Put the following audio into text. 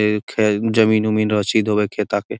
ए खे जमींन उमिन रसीद होवे है खेता के |